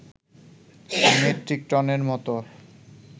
metric টনের মত